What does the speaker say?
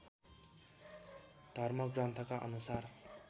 धर्मग्रन्थका अनुसार